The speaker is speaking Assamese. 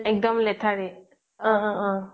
একদম লেঠাৰি অহ' অহ' অহ্'